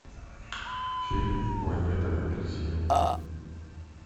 фильм планета обезьян